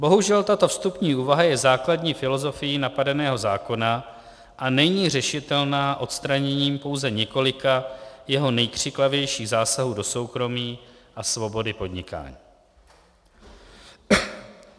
Bohužel, tato vstupní úvaha je základní filosofií napadeného zákona a není řešitelná odstraněním pouze několika jeho nejkřiklavějších zásahů do soukromí a svobody podnikání.